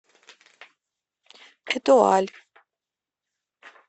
этуаль